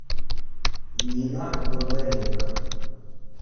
нина бондаренко